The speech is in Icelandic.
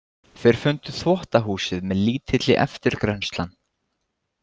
Þeir fundu þvottahúsið með lítilli eftirgrennslan.